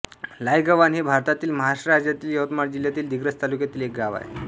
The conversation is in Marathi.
लायगव्हाण हे भारतातील महाराष्ट्र राज्यातील यवतमाळ जिल्ह्यातील दिग्रस तालुक्यातील एक गाव आहे